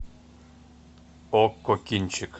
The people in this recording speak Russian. окко кинчик